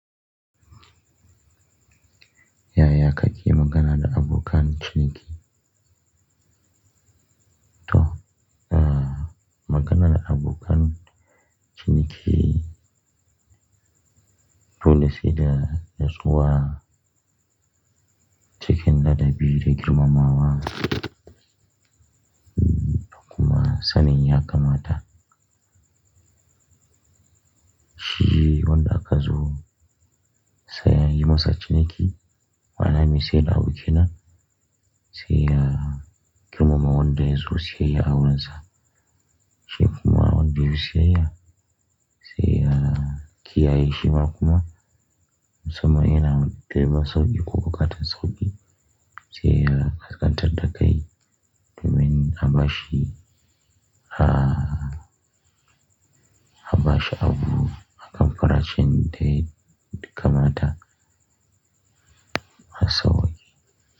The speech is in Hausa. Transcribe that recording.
Ya ya kake magana da abokan ciniki. To, ah, magana da abokan ciniki, dole sai da natsuwa, cikin ladabi da girmamawa, da kuma sanin ya kamata. Shi wanda aka zo, sai a yi masa ciniki. Wannan mai sai da abu kenan. Sai ya girmama wanda ya zo siyayya a wurinsa. Shi kuma wanda ya zo siyayya, sai ya kiyaye shima, kuma, musamman yana neman sauƙi ko buƙatan sauƙi. Sai ya ƙasƙantan da kai, domin abashi, ah, abashi abu, akan fara shin daya, ya kamata, a sauƙi,